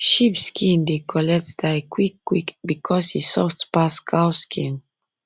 sheep skin dey collect dye quick quick because e soft pass cow skin